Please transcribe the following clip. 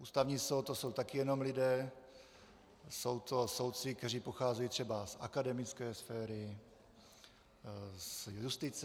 Ústavní soud, to jsou taky jenom lidé, jsou to soudci, kteří pocházejí třeba z akademické sféry, z justice.